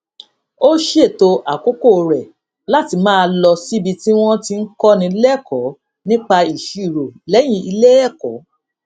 ó ṣètò àkókò rè láti máa lọ síbi tí wón ti ń kóni lékòó nípa ìṣirò léyìn ilé èkó